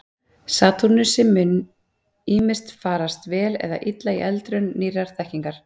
Satúrnusi mun ýmist farast vel eða illa í eldraun nýrrar þekkingar.